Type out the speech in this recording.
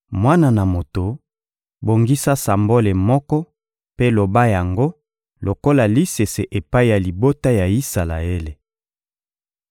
«Mwana na moto, bongisa sambole moko mpe loba yango lokola lisese epai ya libota ya Isalaele.